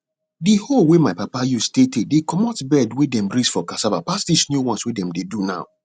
di hoe wey my papa use tey tey dey comot bed wey dem raise for cassava pass dis new ones wey dem dey do now